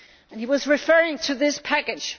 He was referring to this package.